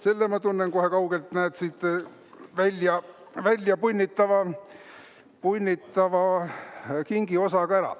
Selle ma tunnen kohe kaugelt siit välja punnitava kingiosa järgi ära.